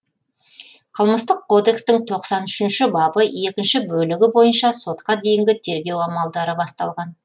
қылмыстық кодекстің тоқсан үшінші бабы екінші бөлігі бойынша сотқа дейінгі тергеу амалдары басталған